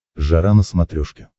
жара на смотрешке